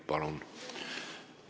Palun!